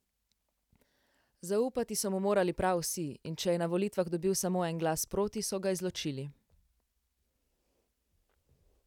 Zaupati so mu morali prav vsi, in če je na volitvah dobil samo en glas proti, so ga izločili.